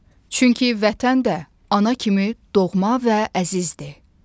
Çünki Vətən də ana kimi doğma və əzizdir.